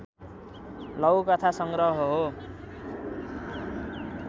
लघुकथा सङ्ग्रह हो